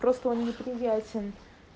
просто он неприятен